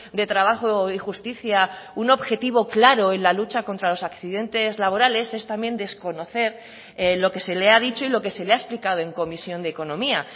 de trabajo y justicia un objetivo claro en la lucha contra los accidentes laborales es también desconocer lo que se le ha dicho y lo que se le ha explicado en comisión de economía